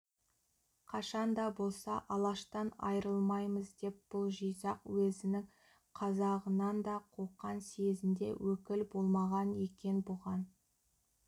қашанда болса алаштан айрылмаймыз деп бұл жизақ уезінің қазағынан да қоқан съезінде өкіл болмаған екен бұған